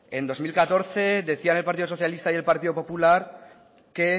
en el dos mil catorce decían el partido socialista y el partido popular que